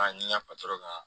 A ni ŋa patɔrɔn ka